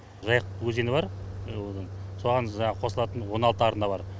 жайық өзені бар және одан соған жаңағы қосылатын он алты арна бар